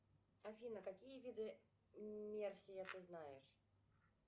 афина какие виды мерсия ты знаешь